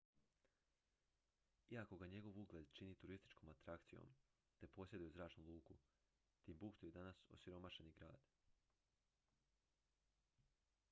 iako ga njegov ugled čini turističkom atrakcijom te posjeduje zračnu luku timbuktu je danas osiromašeni grad